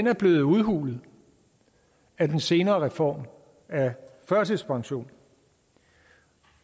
er blevet udhulet af den senere reform af førtidspension